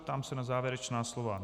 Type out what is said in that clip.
Ptám se na závěrečná slova.